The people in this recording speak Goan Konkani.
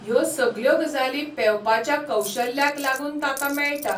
ह्यो सगल्यो गजाली पेवपाच्या कौशल्याक लागून ताका मेळटा